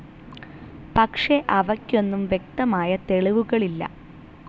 പക്ഷെ അവയ്ക്കൊന്നും വ്യക്തമായ തെളിവുകളില്ല.